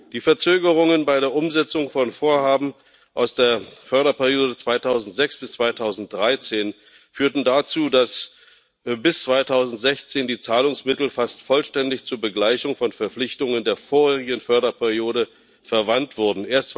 Die Verzögerungen bei der Umsetzung von Vorhaben aus der Förderperiode 2006 bis 2013 führten dazu, dass bis 2016 die Zahlungsmittel fast vollständig zur Begleichung von Verpflichtungen der vorherigen Förderperiode verwandt wurden.